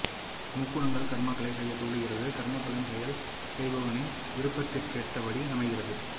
முக்குணங்கள் கர்மாக்களைச் செய்யத் தூண்டுகிறது கர்மபலன் செயல் செய்பவனின் விருப்பத்திற்கேற்றபடி அமைகிறது